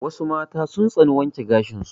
Wassu mata sun tsani wanke gashin su